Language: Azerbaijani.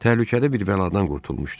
Təhlükəli bir bəladan qurtulmuşdu.